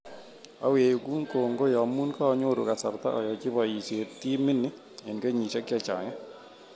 Awegu kongoi amu kanyotu kasarta ayochi boisiet timit ni eng kenyisiek chechang.